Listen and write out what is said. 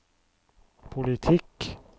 politikk